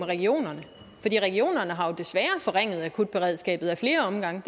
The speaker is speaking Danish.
regionerne har jo desværre forringet akutberedskabet ad flere omgange